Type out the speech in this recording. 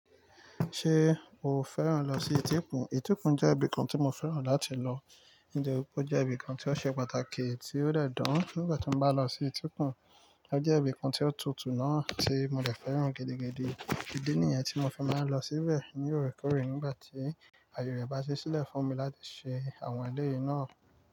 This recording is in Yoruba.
Ṣé o fẹ́ràn lọ sí Étíkùn? Étíkùn jẹ́ ibì kan tí mo fẹ́ràn láti lọ, nitori pe ó jẹ́ ibìkan tí ó ṣe pàtàkì tí ó dẹ̀ dán. Nígbà tí mo bá lọ sí Étíkùn, ó jẹ́ ibìkan tí ó tutù náà tí mo dẹ̀ fẹ́ràn gidigidi. Ìdí nìyẹn tí mo fi máa ń lọ síbẹ̀ ní orekoorè nígbà tí àyè rẹ bá ṣi sílẹ̀ fún mi láti ṣe àwọn eléyìí náà.